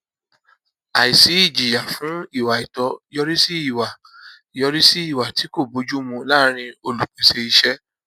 àìsí ìjìyà fún ìwà àìtọ yọrí sí ìwà yọrí sí ìwà tí kò bójú mu láàrín olùpèsè iṣẹ